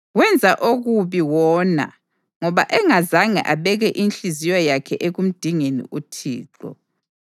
Wenza okubi wona ngoba engazange abeke inhliziyo yakhe ekumdingeni uThixo.